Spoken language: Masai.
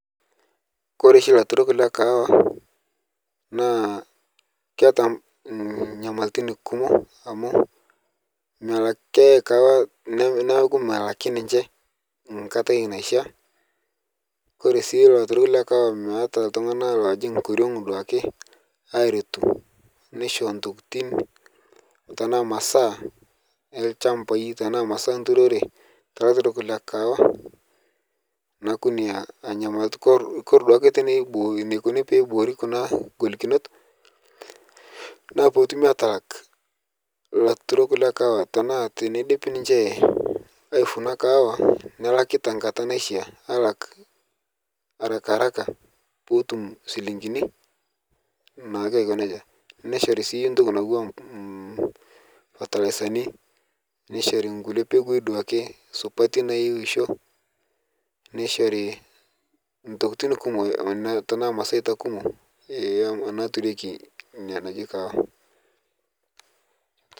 Koree oshi ilaturok le kaawa, naa, keeta nyamalitin kumok, amu neeku melaki ninye, ore sii ilaturk le kaawa, meeta iltunganak loojing' tenkoriong aaretu, airrishu, nisho ntokitin tenaa masaa enturore, ilaturok le kaawa. kore duo ake enikoni pee iboori kuna golikinot, naa peetumi ataa ilaturok le kaawa, teneidip ninche, aifuna kaawa, melaki tenkata naishaa nelak arakaaraka peetum shilinkini, naake aiko nejia, nishori naake entoki naijo, fatalaisani, nishori mpeku supati naishoo. naaturieki ilnganayio le kaawa.